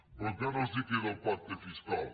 però encara els queda el pacte fiscal